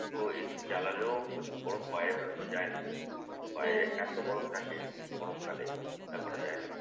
তো এসি চালালেও প্রচুর গরম। বাহিরে বেরুনো যায় না। বাইরে এত গরম থাকে গরমকালে চিন্তা করা যায় না।